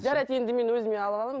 жарайды енді мен өзіме ала аламын